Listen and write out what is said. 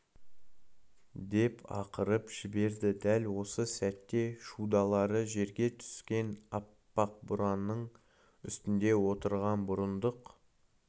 деп ақырып жіберді дәл осы сәтте шудалары жерге түскен аппақ бураның үстінде отырған бұрындық